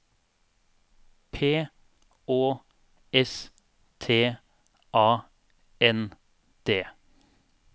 P Å S T A N D